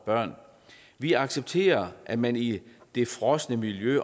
børn vi accepterer at man i det frosne miljø